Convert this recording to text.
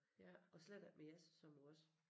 Og slet ikke med Jes som nu også